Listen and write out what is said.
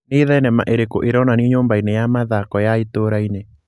nĩ thenema ĩrĩkũ ĩronanĩo nyũmba-inĩ ya mathaako ya itũũra-inĩ